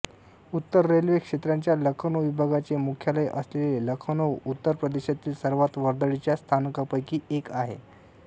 उत्तर रेल्वे क्षेत्राच्या लखनौ विभागाचे मुख्यालय असलेले लखनौ उत्तर प्रदेशातील सर्वात वर्दळीच्या स्थानकांपैकी एक आहे